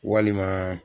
Walima